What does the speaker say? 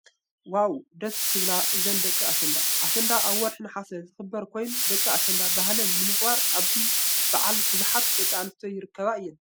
ዋው ደስ ክብላ እዛን ደቂ ኣሸንዳ። ኣሸንዳ ኣብ ወርሒ ነሓሰ ዝክበር ኮይኑ ደቂ ኣሸንዳ ባህለን ንምክባር ኣብዚ በዓል ቡዙሓት ደቂ ኣነስትዮ ይርከባ እየን።